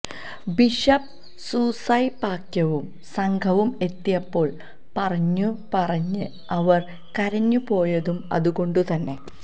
bishop സൂസൈപാക്യവും സംഘവും എത്തിയപ്പോള് പറഞ്ഞു പറഞ്ഞ് അവര് കരഞ്ഞുപോയതും അതുകൊണ്ടുതന്നെ